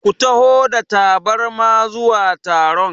Ku taho da tabarma zuwa taron!